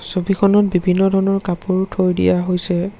ছবিখনত বিভিন্ন ধৰণৰ কাপোৰো থৈ দিয়া হৈছে।